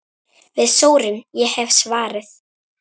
Við sórum, ég hef svarið.